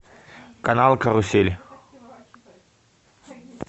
канал карусель